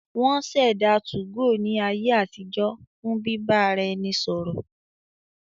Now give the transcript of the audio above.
Wọ́n ṣẹ̀dá 2go ní ayé àtijọ́ fún bíbá ara ẹni sọ̀rọ̀